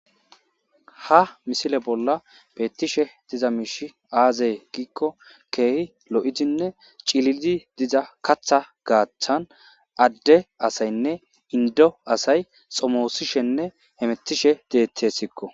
Ha missile bolla bethishe dizza mishi azze gikko kehi loo'dinne cilillidi dizza kaththa gathan adde assaynne inddo assayi xomosishene hemethishe dethesikko.